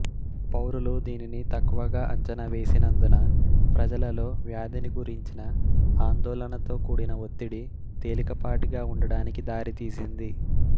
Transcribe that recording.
పౌరులు దీనిని తక్కువగా అంచనా వేసినందున ప్రజలలో వ్యాధినిగురించిన అండోళనతో కూడిన ఒత్తిడి తేలికపాటిగా ఉండడానికి దారితీసింది